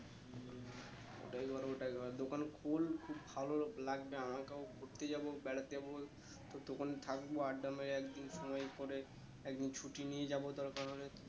ওইটাই কর ওইটাই কর দোকান খোল খুব ভালো লাগবে আমাকেও ঘুরতে যাবো বেড়াতে যাবো যতক্ষণ থাকবো আড্ডা মেরে একদিন সময় করে একদিন ছুটি নিয়ে যাবো দরকার হলে